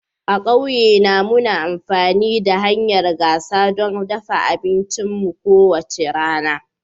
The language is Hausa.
A ƙauyena, muna amfani da hanyar gasa don dafa abincinmu kowace rana.